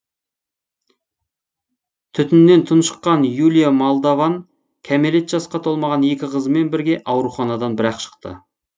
түтіннен тұншыққан юлия молдован кәмелет жасқа толмаған екі қызымен бірге ауруханадан бір ақ шықты